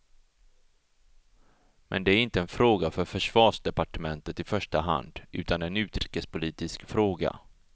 Men det är inte en fråga för försvarsdepartementet i första hand, utan en utrikespolitisk fråga.